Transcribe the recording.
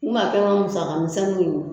N kun b'a kɛ n ka musaka misɛnninw ye